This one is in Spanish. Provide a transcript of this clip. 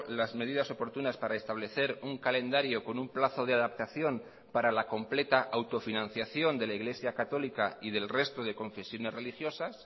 las medidas oportunas para establecer un calendario con un plazo de adaptación para la completa autofinanciación de la iglesia católica y del resto de confesiones religiosas